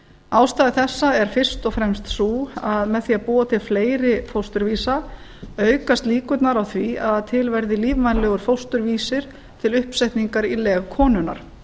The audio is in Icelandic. ástæða þessa er fyrst og fremst sú að með því að búa til fleiri fósturvísa aukast líkurnar á því að til verði lífvænlegur fósturvísir til uppsetningar í leg konunnar